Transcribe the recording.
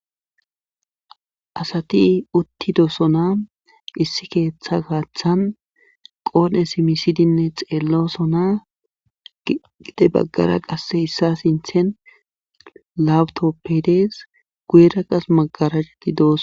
asati uttidosona issi keeththa gaaththan qoode simisidinne xeellosona gide baggara qasse issa sinthen lawutoppedees guyera qas magaraajeti doos